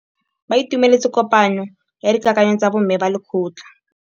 Ba itumeletse kôpanyo ya dikakanyô tsa bo mme ba lekgotla.